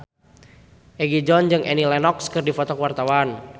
Egi John jeung Annie Lenox keur dipoto ku wartawan